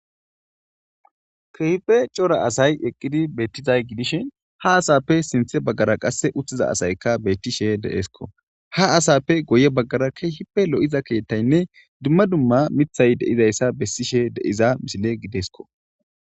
Keehipe cora asay eqqidi beettizay gidishin ha asappe sinthe baggara qasse uttiza asayka bettishe deesko, ha asappe goye baggara keehipe lo'iza keettaynne dumma dumma mithay deizayssa bessishe deyza misile gidesko.